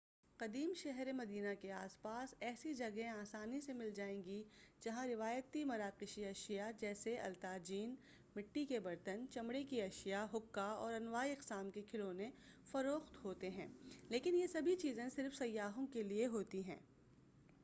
قدیم شہر مدینہ کے آس پاس ایسی جگہیں آسانی سے مل جائیں گی جہاں روایتی مراقشی اشیاء جیسے الطاجین مٹی کے برتن چمڑے کی اشیاء حقہ اور انواع اقسام کے کھلونے فروخت ہوتے ہیں لیکن یہ سبھی چیزیں صرف سیاحوں کیلئے ہوتی ہیں